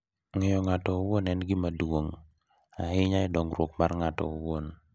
Ng’eyo ng’ato owuon en gima duong’ ahinya e dongruok mar ng’ato owuon .